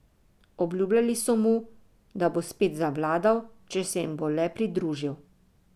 Obljubljali so mu, da bo spet zavladal, če se jim bo le pridružil.